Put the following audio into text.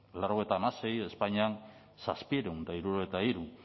laurogeita hamasei espainian zazpiehun eta hirurogeita hiru